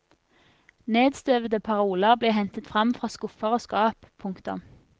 Nedstøvede paroler blir hentet frem fra skuffer og skap. punktum